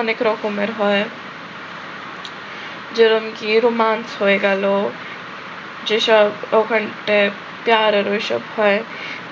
অনেক রকমের হয় যেমন কি romance হয়ে গেলো, যেসব ওখানটায় পেয়ার আর ঐসব হয়,